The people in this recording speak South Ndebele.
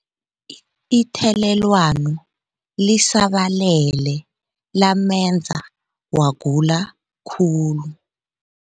Ithelelwano lisabalele lamenza wagula khulu.